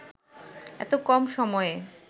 এত কম সময়ে